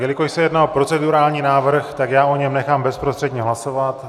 Jelikož se jedná o procedurální návrh, tak já o něm nechám bezprostředně hlasovat.